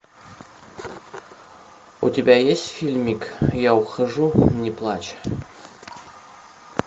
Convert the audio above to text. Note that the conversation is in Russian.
у тебя есть фильмик я ухожу не плачь